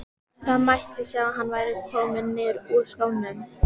Það mátti sjá að hann var kominn niður úr skónum.